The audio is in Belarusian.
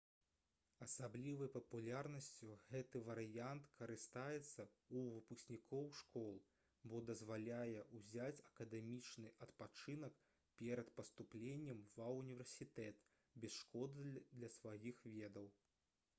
асаблівай папулярнасцю гэты варыянт карыстаецца ў выпускнікоў школ бо дазваляе ўзяць акадэмічны адпачынак перад паступленнем ва ўніверсітэт без шкоды для сваіх ведаў